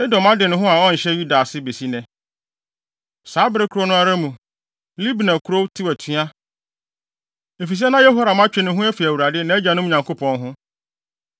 Edom ade ne ho a ɔnhyɛ Yuda ase de besi nnɛ. Saa bere koro no ara mu, Libna kurow tew atua, efisɛ na Yehoram atwe ne ho afi Awurade, nʼagyanom Nyankopɔn ho.